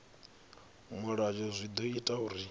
mulayo zwi ḓo ita uri